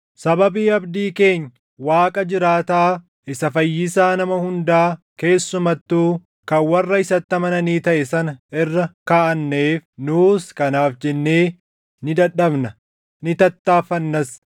Sababii abdii keenya Waaqa jiraataa isa Fayyisaa nama hundaa keessumattuu kan warra isatti amananii taʼe sana irra kaaʼanneef nuus kanaaf jennee ni dadhabna; ni tattaaffannas.